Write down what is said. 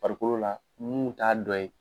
Farikolo la mun t'a dɔ ye.